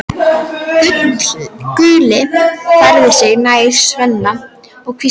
Gulli færði sig nær Svenna og hvíslaði